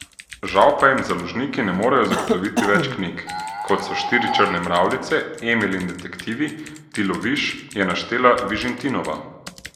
Žal pa jim založniki ne morejo zagotoviti več knjig, kot so Štiri črne mravljice, Emil in detektivi, Ti loviš, je naštela Vižintinova.